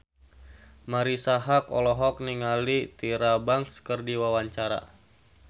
Marisa Haque olohok ningali Tyra Banks keur diwawancara